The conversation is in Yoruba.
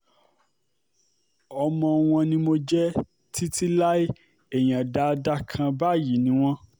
ọmọ wọn ni mo jẹ́ títí láé èèyàn dáadáa kan báyìí ni wọ́n